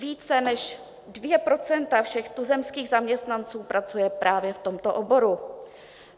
Více než 2 % všech tuzemských zaměstnanců pracuje právě v tomto oboru.